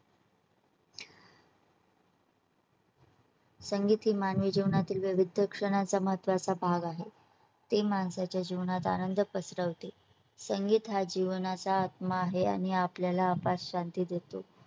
संगीत हे मानवी जीवनातील विविध शिक्षणाचा महत्त्वाचा भाग आहे . ते माणसाच्या जीवनात आनंद पसरवते. संगीतहा जीवनाचा आत्मा आहे आणि आपल्याला अपाट शांती देतो.